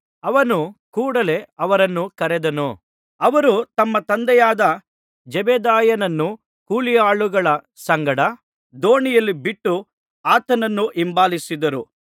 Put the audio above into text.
ಅವನು ಕೂಡಲೇ ಅವರನ್ನೂ ಕರೆದನು ಅವರು ತಮ್ಮ ತಂದೆಯಾದ ಜೆಬೆದಾಯನನ್ನು ಕೂಲಿಯಾಳುಗಳ ಸಂಗಡ ದೋಣಿಯಲ್ಲಿ ಬಿಟ್ಟು ಆತನನ್ನು ಹಿಂಬಾಲಿಸಿದರು